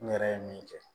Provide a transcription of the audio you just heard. N yɛrɛ ye min kɛ